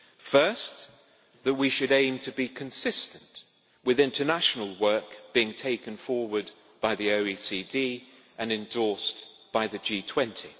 First, that we should aim to be consistent, with international work being taken forward by the OECD and endorsed by the G20.